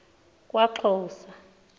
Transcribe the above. kwaxhosa